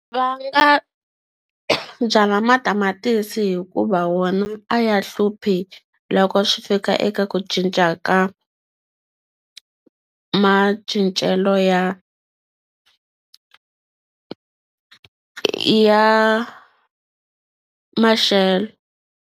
Va nga byala matamatisi hikuva wona a ya hluphi loko swi fika eka ku cinca ka macincelo ya ya maxelo.